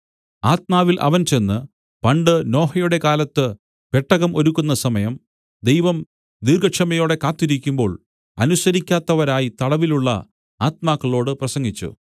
ആത്മാവിൽ അവൻ ചെന്ന് പണ്ട് നോഹയുടെ കാലത്ത് പെട്ടകം ഒരുക്കുന്ന സമയം ദൈവം ദീർഘക്ഷമയോടെ കാത്തിരിക്കുമ്പോൾ അനുസരിക്കാത്തവരായി തടവിലുള്ള ആത്മാക്കളോട് പ്രസംഗിച്ചു